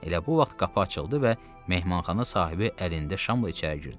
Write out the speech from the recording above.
Elə bu vaxt qapı açıldı və mehmanxana sahibi əlində şamla içəri girdi.